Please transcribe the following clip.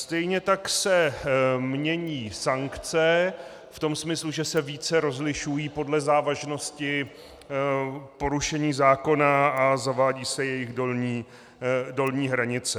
Stejně tak se mění sankce v tom smyslu, že se více rozlišují podle závažnosti porušení zákona a zavádí se jejich dolní hranice.